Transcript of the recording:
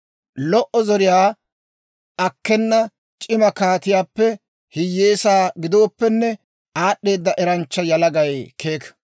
Lo"o zoriyaa akkena c'ima kaatiyaappe hiyyeesaa gidooppenne, aad'd'eeda eranchcha yalagay keeka.